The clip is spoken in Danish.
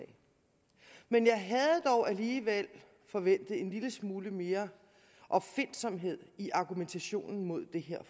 men jeg havde dog alligevel forventet en lille smule mere opfindsomhed i argumentationen mod det